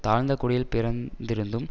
தாழ்ந்த குடியில் பிறந்திருந்தும்